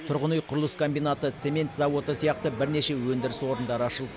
тұрғын үй құрылыс комбинаты цемент зауыты сияқты бірнеше өндіріс орындары ашылды